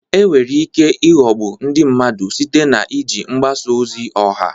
Enwere ike ịghọgbu ndị mmadụ site na iji mgbasa ozi ọha.